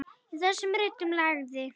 Í þessum ritum lagði